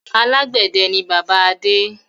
Alàgbẹ̀dẹ ni bàbá Adé.